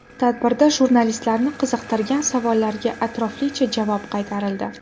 Tadbirda jurnalistlarni qiziqtirgan savollarga atroflicha javob qaytarildi.